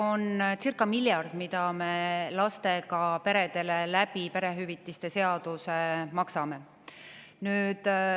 See on circa miljard, mida me lastega peredele perehüvitiste seaduse alusel maksame.